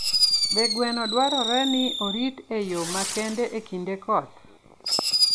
Be gweno dwarore ni orit e yo makende e kinde koth?